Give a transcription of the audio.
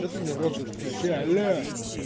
ты мне рот затыкаешь алло